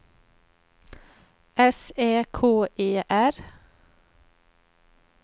S Ä K E R